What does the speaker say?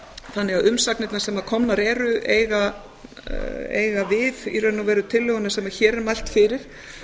þannig að umsagnirnar sem komnar eru eiga við í raun og veru tillöguna sem hér er mælt fyrir